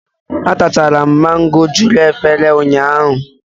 Atachara m mango juru efere ụnyaahụ.